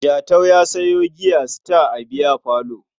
Jatau ya sayo giya Star a biyafalo.